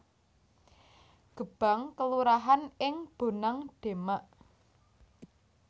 Gebang kelurahan ing Bonang Demak